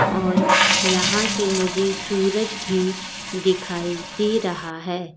और यहां से मुझे सूरज भी दिखाई दे रहा है।